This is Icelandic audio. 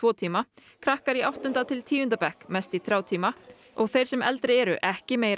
tíma krakkar í áttunda til tíunda bekk mest þrjá tíma og þeir sem eldri eru ekki meira en